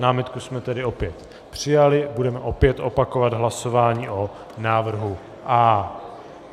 Námitku jsme tedy opět přijali, budeme opět opakovat hlasování o návrhu A.